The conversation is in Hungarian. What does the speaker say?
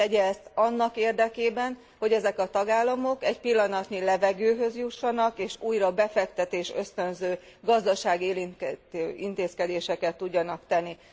Tegye ezt annak érdekében, hogy ezek a tagállamok egy pillanatnyi levegőhöz jussanak és újra befektetés ösztönző, gazdaságélénkítő intézkedéseket tudjanak tenni.